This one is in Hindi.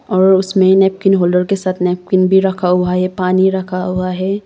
और उसमें नैपकिन होल्डर के साथ नैपकिन भी रखा हुआ है पानी रखा हुआ है।